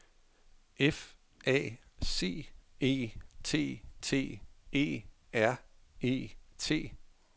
F A C E T T E R E T